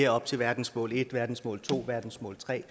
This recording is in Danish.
op til verdensmål en verdensmål to verdensmål tre og